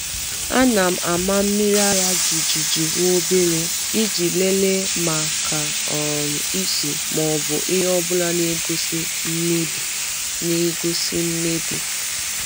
A na m ama mmiri ara jijiji nwobere, iji lelee maka um ísì ma ọ bụ ihe ọbụla n'egosi mmebi. n'egosi mmebi.